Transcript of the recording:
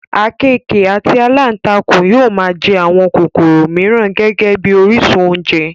àkekèé àti alántakùn yóò máa jẹ àwọn kòkòrò mìíràn gẹ́gẹ́ bí orísun oúnjẹ